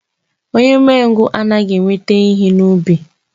Onye umengwu anaghị enweta ihe n'ubi.